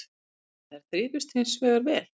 En þær þrifust hins vegar vel